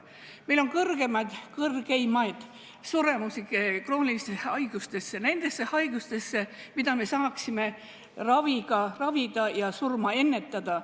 Meil on üks kõrgeimaid suremusi kroonilistesse haigustesse, nendesse haigustesse, mida me saaksime ravida ja surma ära hoida.